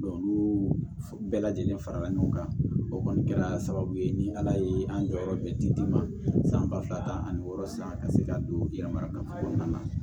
olu bɛɛ lajɛlen farala ɲɔgɔn kan o kɔni kɛra sababu ye ni ala ye an jɔyɔrɔ bɛɛ di d'i ma san ba fila ani wɔɔrɔ sisan ka se ka don yɛrɛ marakaw kɔnɔna na